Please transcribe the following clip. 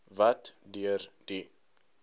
wat deur die